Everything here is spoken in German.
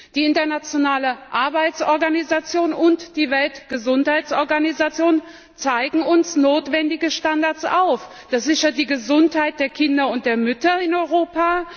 Die Internationale Arbeitsorganisation und die Weltgesundheitsorganisation zeigen uns notwendige Standards auf. Das sichert die Gesundheit der Kinder und der Mütter in Europa.